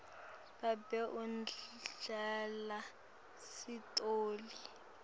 babe udlala sitoli